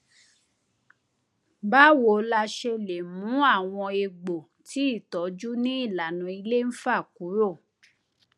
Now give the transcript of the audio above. báwo la ṣe lè mú àwọn egbò tí ìtọjú ní ìlànà ilé ń fà kúrò